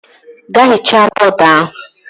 Gaa hichaa bọọdu ahụ!